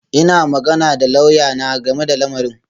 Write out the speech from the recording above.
Ina magana da lauyana game da lamarin